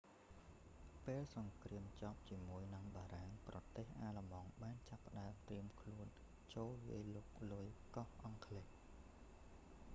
ពេលសង្គ្រាមចប់ជាមួយនឹងបារាំងប្រទេសអាល្លឺម៉ង់បានចាប់ផ្តើមត្រៀមខ្លួនចូលវាយលុកលុយកោះអង់គ្លេស